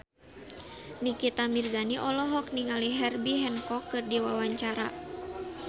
Nikita Mirzani olohok ningali Herbie Hancock keur diwawancara